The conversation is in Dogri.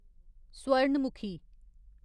सुवर्णमुखी